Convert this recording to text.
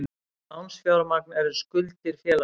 Lánsfjármagn er skuldir félagsins.